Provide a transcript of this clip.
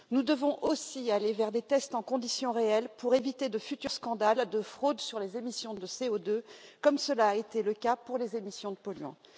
Nous devons aussi aller vers des tests en conditions réelles pour éviter de futurs scandales de fraude sur les émissions de CO2, comme cela a été le cas pour les émissions de polluants.